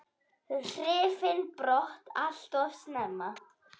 Hrifinn brott allt of snemma.